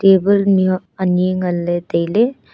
table mih huak anyi nganle taile.